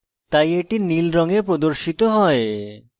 তাই এটি নীল রঙে প্রদর্শিত হয়